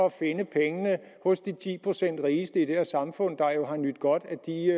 at finde pengene hos de ti procent rigeste i det her samfund der jo har nydt godt